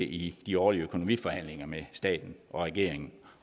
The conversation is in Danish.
i de årlige økonomiforhandlinger med staten og regeringen